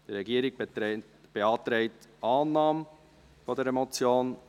Die Regierung beantragt Annahme dieser Motion.